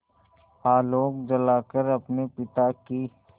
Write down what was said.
आलोक जलाकर अपने पिता की